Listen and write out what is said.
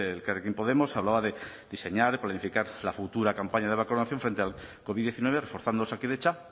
de elkarrekin podemos hablaba de diseñar y planificar la futura campaña de vacunación frente al covid diecinueve reforzando osakidetza